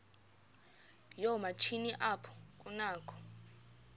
yoomatshini apho kunakho